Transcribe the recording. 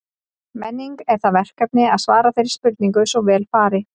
Menning er það verkefni að svara þeirri spurningu svo vel fari.